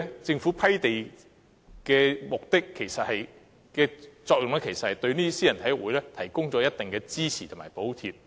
政府批地的作用，其實是對私人體育會提供一定的支持及補貼。